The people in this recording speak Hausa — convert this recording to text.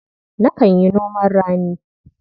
Nakan yi noman rani.